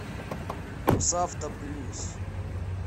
русавто плюс